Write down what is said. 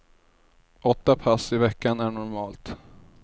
Åtta pass i veckan är normalt.